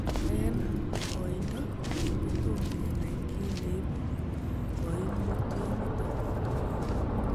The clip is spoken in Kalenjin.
En oindo, kotom kenai kiy neibu koimutioniton.